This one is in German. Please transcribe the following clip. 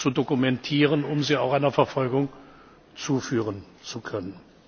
zu dokumentieren, um sie auch einer Verfolgung zuführen zu können.